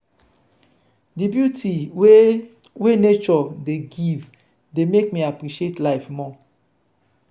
di beauty wey wey nature dey give dey make me appreciate life more.